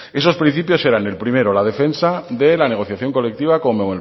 esos principios eran el primero la defensa de la negociación colectiva con